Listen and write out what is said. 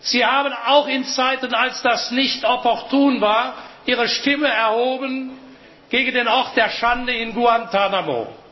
Sie haben auch in Zeiten, als das nicht opportun war, Ihre Stimme erhoben gegen den Ort der Schande in Guantánamo.